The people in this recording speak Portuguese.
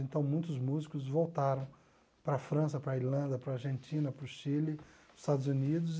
Então muitos músicos voltaram para a França, para a Irlanda, para a Argentina, para o Chile, para os Estados Unidos.